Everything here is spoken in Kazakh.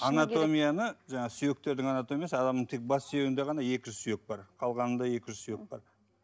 анатомияны жаңағы сүйектердің анатомиясы адамның тек бас сүйегінде ғана екі жүз сүйек бар қалғанында екі жүз сүйек бар